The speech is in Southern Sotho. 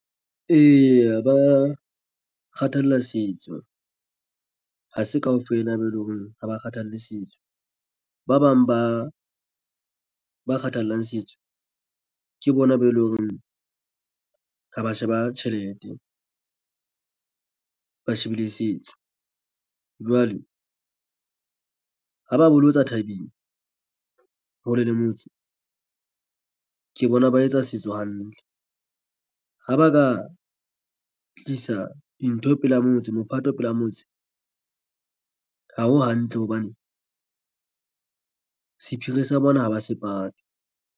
Eya, ba kgathalla setso ha se kaofela be eleng hore ha ba kgathalle setso ba bang ba ba kgathallang setso ke bona be leng hore ha ba sheba tjhelete ba shebile setso. Jwale ha ba bolotsa thabeng hole le motse ke bona ba etsa setso hantle ha ba ka tlisa dintho pela motse mophato pela motse. Ha ho hantle hobane sephiri sa bona ha ba se pate.